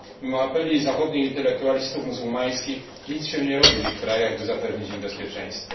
Mimo apeli zachodnich intelektualistów muzułmańskich nic się nie robi w ich krajach, by zapewnić im bezpieczeństwo.